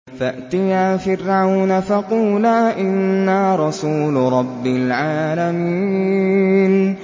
فَأْتِيَا فِرْعَوْنَ فَقُولَا إِنَّا رَسُولُ رَبِّ الْعَالَمِينَ